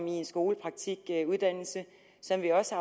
i en skolepraktikuddannelse som vi også